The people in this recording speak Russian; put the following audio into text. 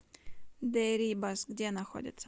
дэрибас где находится